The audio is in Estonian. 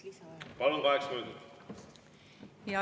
Palun, kaheksa minutit!